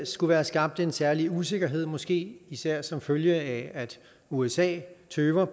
skulle være skabt en særlig usikkerhed måske især som følge af at usa tøver